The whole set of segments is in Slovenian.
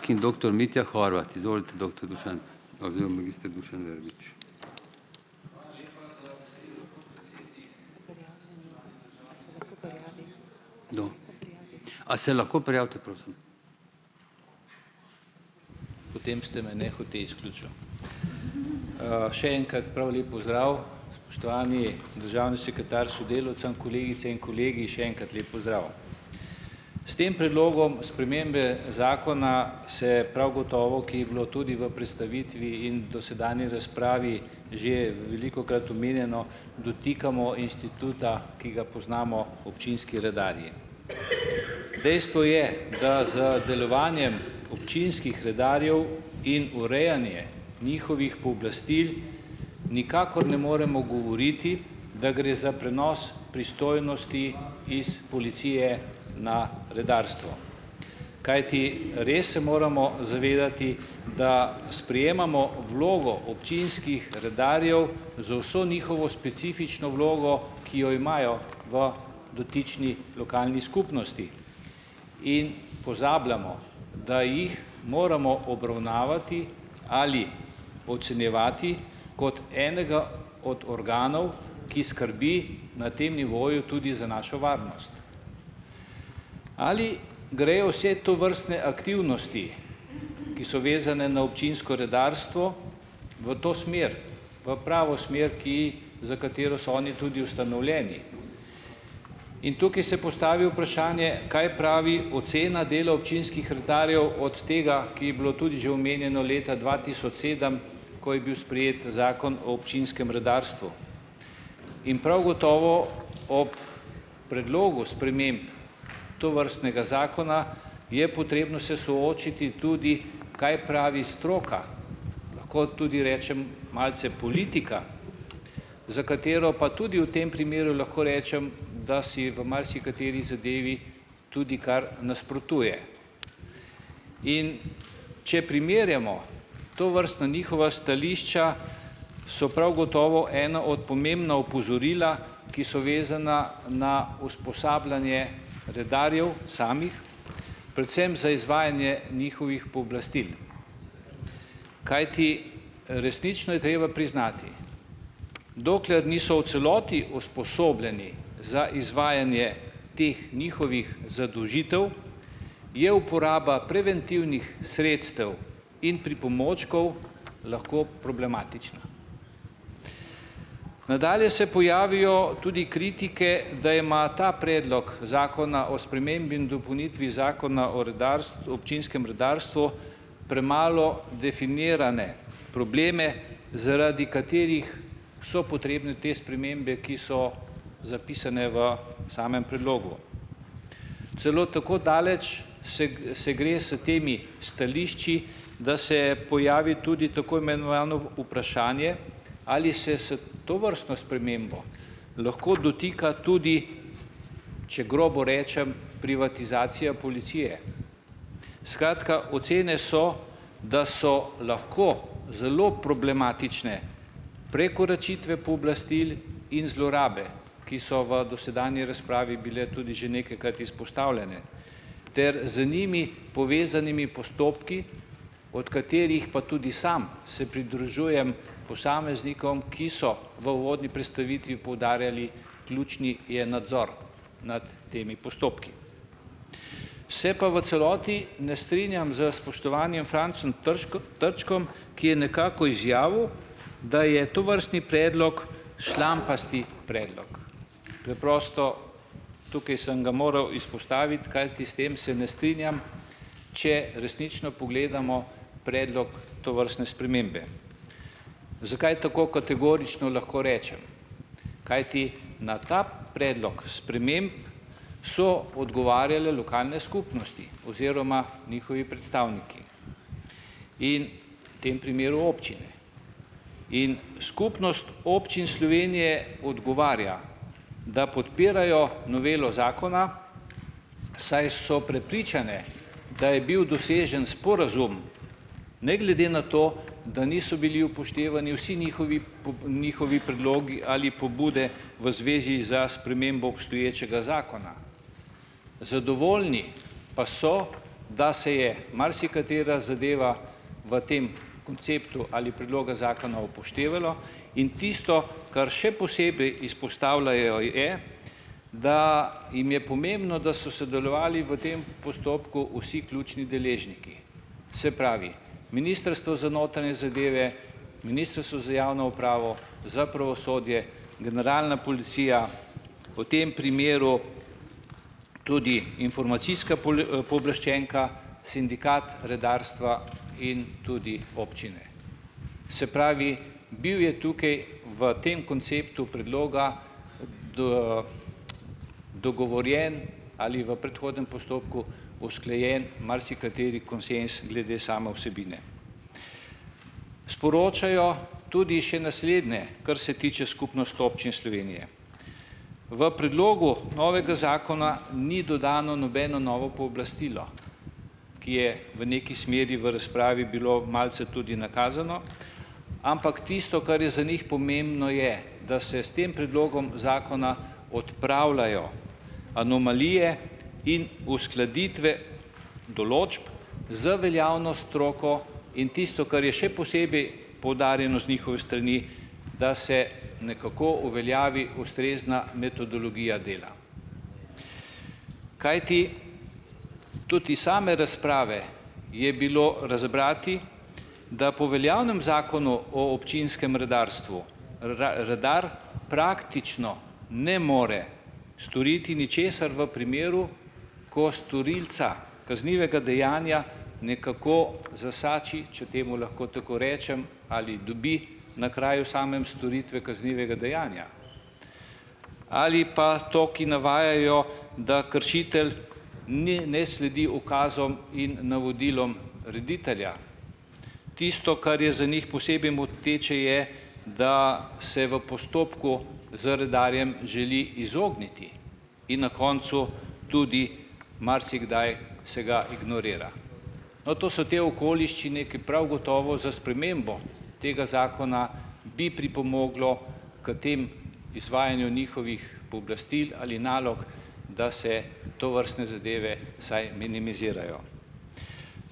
Potem ste me nehote izključil. Še enkrat prav lep pozdrav, spoštovani državni sekretar, sodelavcem, kolegice in kolegi, še enkrat lep pozdrav. S tem predlogom spremembe zakona se prav gotovo, ki bilo tudi v prestavitvi in dosedanje razpravi že velikokrat omenjeno, dotikamo instituta, ki ga poznamo občinski redarji. Dejstvo je, da z delovanjem občinskih redarjev in urejanje njihovih pooblastil nikakor ne moremo govoriti, da gre za prenos pristojnosti iz policije na redarstvo. Kajti res se moramo zavedati, da sprejemamo vlogo občinskih redarjev z vso njihovo specifično vlogo, ki jo imajo v dotični lokalni skupnosti, in pozabljamo, da jih moramo obravnavati ali ocenjevati kot enega od organov, ki skrbi na tem nivoju tudi za našo varnost. Ali grejo vse tovrstne aktivnosti, ki so vezane na občinsko redarstvo v to smer, v pravo smer, ki za katero so oni tudi ustanovljeni? In tukaj se postavi vprašanje, kaj pravi ocena dela občinskih redarjev od tega, ki je bilo tudi že omenjeno leta dva tisoč sedem, ko je bil sprejet Zakon o občinskem redarstvu. In prav gotovo ob predlogu sprememb tovrstnega zakona je potrebno se soočiti tudi, kaj pravi stroka, tudi rečem malce politika, za katero pa tudi v tem primeru lahko rečem, da si v marsikateri zadevi tudi kar nasprotuje. In če primerjamo tovrstna njihova stališča, so prav gotovo ena od pomembnih opozoril, ki so vezana na usposabljanje redarjev samih, predvsem za izvajanje njihovih pooblastil. Kajti resnično je treba priznati, dokler niso v celoti usposobljeni za izvajanje teh njihovih zadolžitev, je uporaba preventivnih sredstev in pripomočkov lahko problematična. Nadalje se pojavijo tudi kritike, da ima ta predlog Zakona o spremembi in dopolnitvi Zakona o občinskem redarstvu premalo definirane probleme, zaradi katerih so potrebne te spremembe, ki so zapisane v samem predlogu. Celo tako daleč se gre s temi stališči, da se pojavi tudi vprašanje, ali se s tovrstno spremembo lahko dotika tudi, če grobo rečem, privatizacije policije? Skratka, ocene so, da so lahko zelo problematične prekoračitve pooblastil in zlorabe, ki so v dosedanji razpravi bile tudi že nekajkrat izpostavljene. Ter z njimi povezanimi postopki, od katerih pa tudi sam se pridružujem posameznikom, ki so v uvodni predstavitvi poudarjali: ključen je nadzor nad temi postopki. Se pa v celoti ne strinjam s spoštovanim Francem Trčkom, ki je nekako izjavil, da je tovrstni predlog "šlampast" predlog. Preprosto, tukaj sem ga moral izpostaviti, kajti s tem se ne strinjam, če resnično pogledamo predlog tovrstne spremembe. Zakaj tako kategorično lahko rečem? Kajti na ta predlog sprememb so odgovarjale lokalne skupnosti oziroma njihovi predstavniki in v tem primeru občine. In Skupnost občin Slovenije odgovarja, da podpirajo novelo zakona, saj so prepričane, da je bil dosežen sporazum, ne glede na to, da niso bili upoštevani vsi njihovi njihovi predlogi ali pobude v zvezi s spremembo obstoječega zakona. Zadovoljni pa so, da se je marsikatera zadeva v tem konceptu ali predloga zakona upoštevalo in tisto, kar še posebej izpostavljajo je, da jim je pomembno, da so sodelovali v tem postopku vsi ključni deležniki. Se pravi, ministrstvo za notranje zadeve, ministrstvo za javno upravo, za pravosodje, generalna policija. O tem primeru tudi informacijska pooblaščenka, sindikat, redarstva in tudi občine. Se pravi, bil je tukaj v tem konceptu predloga dogovorjen ali v predhodnem postopku usklajen marsikateri konsenz glede same vsebine. Sporočajo tudi še naslednje, kar se tiče Skupnosti občin Slovenije, v predlogu novega zakona ni dodano nobeno novo pooblastilo, ki je v neki smeri v razpravi bilo malce tudi nakazano, ampak tisto, kar je za njih pomembno, je, da se s tem predlogom zakona odpravljajo anomalije in uskladitve določb z veljavno stroko in tisto, kar je še posebej poudarjeno z njihove strani, da se nekako uveljavi ustrezna metodologija dela, kajti tudi iz same razprave je bilo razbrati, da po veljavnem Zakonu o občinskem redarstvu, praktično ne more storiti ničesar v primeru, ko storilca kaznivega dejanja nekako zasači, če temu lahko tako rečem ,ali dobi na kraju samem storitve kaznivega dejanja ali pa to, ki navajajo, da kršitelj naj ne sledi ukazom in navodilom reditelja. Tisto, kar je za njih posebej moteče, je, da se v postopku z redarjem želi izogniti in na koncu tudi marsikdaj se ga ignorira. No, to so te okoliščine, ki prav gotovo za spremembo tega zakona bi pripomoglo k temu izvajanju njihovih pooblastil ali nalog, da se tovrstne zadeve vsaj minimizirajo.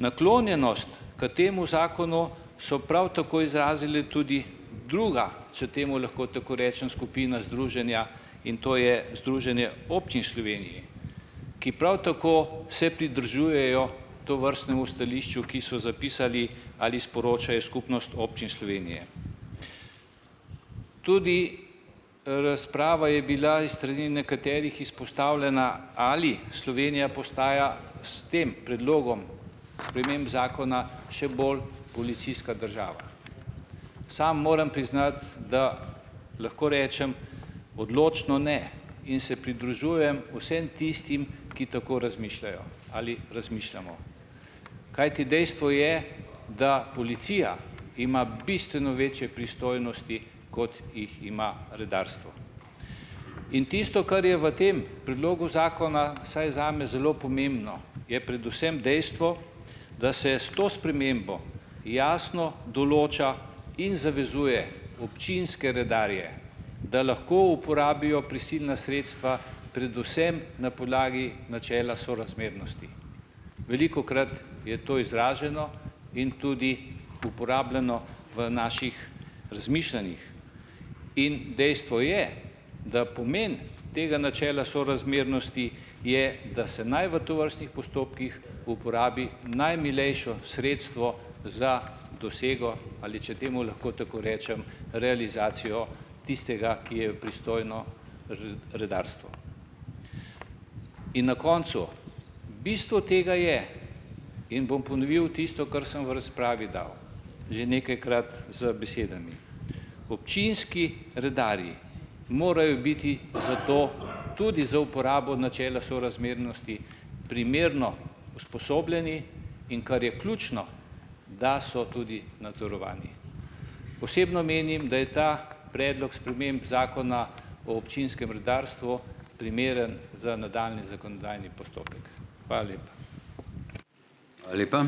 Naklonjenost k temu zakonu so prav tako izrazili tudi druga, če temu lahko tako rečem, skupina združenj, in to je Združenje občin Slovenije, ki prav tako se pridružujejo tovrstnemu stališču, ki so zapisali ali sporočajo Skupnost občin Slovenije. Tudi, razprava je bila iz strani nekaterih izpostavljena, ali Slovenija postaja s tem predlogom sprememb zakona še bolj policijska država. Sam moram priznati, da lahko rečem odločno "ne", in se pridružujem vseeno tistim, ki tako razmišljajo ali razmišljamo. Kajti dejstvo je, da policija ima bistveno večje pristojnosti, kot jih ima redarstvo. In tisto, kar je v tem predlogu zakona vsaj zame zelo pomembno, je predvsem dejstvo, da se s to spremembo jasno določa in zavezuje občinske redarje, da lahko uporabijo prisilna sredstva predvsem na podlagi načela sorazmernosti. Velikokrat je to izraženo in tudi uporabljeno v naših razmišljanjih in dejstvo je, da pomen tega načela sorazmernosti je, da se naj v tovrstnih postopkih uporabi najmilejše sredstvo za dosego, ali če temu lahko tako rečem, realizacijo tistega, ki je pristojno redarstvo. In na koncu. Bistvo tega je, in bom ponovil tisto, kar sem v razpravi dal, že nekajkrat z besedami, občinski redarji morajo biti zato tudi za uporabo načela sorazmernosti primerno usposobljeni, in kar je ključno, da so tudi nadzorovani. Osebno menim, da je ta predlog sprememb Zakona o občinskem redarstvu primeren za nadaljnji zakonodajni postopek. Hvala lepa.